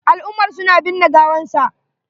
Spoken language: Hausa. Al'umar su na binne gawan sa.